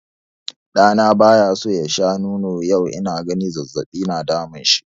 Ɗa na bayaso ya sha nono yau inaga zazzaɓi na damunshi.